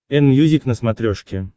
энмьюзик на смотрешке